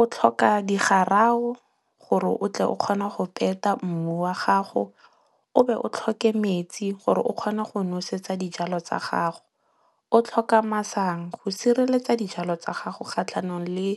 O tlhoka digarawo gore o tle o kgone go peta mmu wa gago. O be o tlhoke metsi gore o kgone go nosetsa dijalo tsa gago. O tlhoka masang go sireletsa dijalo tsa gago kgatlhanong le